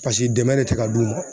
Paseke dɛmɛ de tɛ ka du man.